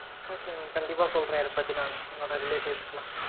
okay mam கண்டிப்பா சொல்றேன் அத பத்தி நானு என்னோட relatives கு